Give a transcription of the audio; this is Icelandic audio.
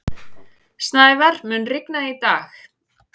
Snævar, mun rigna í dag?